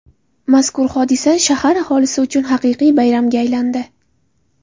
Mazkur hodisa shahar aholisi uchun haqiqiy bayramga aylandi.